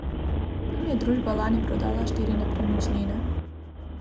Tam je družba lani prodala štiri nepremičnine.